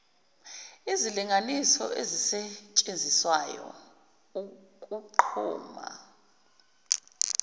izilinganiso ezisetshenziswayo ukunquma